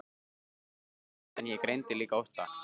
Röddin var höst en ég greindi líka ótta.